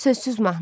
Sözsüz mahnı.